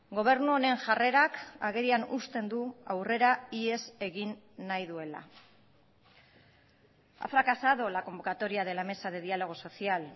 gobernu honen jarrerak agerian uzten du aurrera ihes egin nahi duela ha fracasado la convocatoria de la mesa de diálogo social